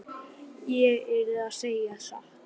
Ég yrði að segja satt.